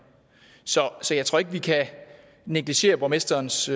så jeg tror ikke at vi kan negligere borgmesterens